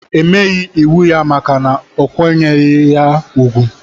Emeyi iwu ya maka na okwanyeghi ha ugwu.